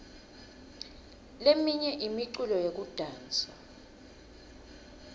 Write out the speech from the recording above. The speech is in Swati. leminye imiculo yekudansa